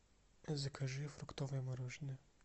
закажи фруктовое мороженое